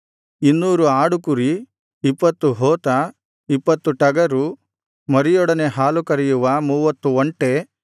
ಇನ್ನೂರು ಆಡುಕುರಿ ಇಪ್ಪತ್ತು ಹೋತ ಇಪ್ಪತ್ತು ಟಗರು ಮರಿಯೊಡನೆ ಹಾಲು ಕರೆಯುವ